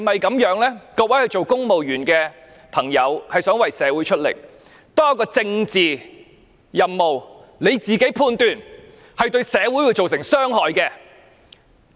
各位作為公務員的朋友，想為社會出力，所以當接獲一項政治任務時，便要自己判斷，會否對社會造成傷害。